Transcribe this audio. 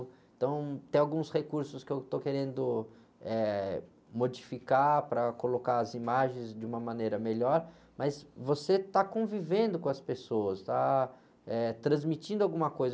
Então, tem alguns recursos que eu estou querendo, eh, modificar para colocar as imagens de uma maneira melhor, mas você está convivendo com as pessoas, está, eh, transmitindo alguma coisa.